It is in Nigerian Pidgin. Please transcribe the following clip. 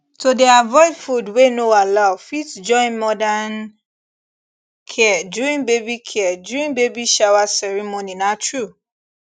to dey avoid food wey no allow fit join modern care during baby care during baby shower ceremony na true